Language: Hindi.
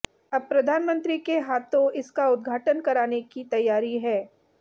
अब प्रधानमंत्री के हाथों इसके इसका उद्धाटन कराने की तैयारी है